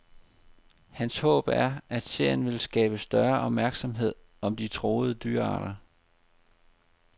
Hans håb er, at serien vil skabe større opmærksomhed om de truede dyrearter.